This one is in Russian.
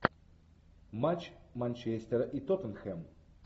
матч манчестера и тоттенхэм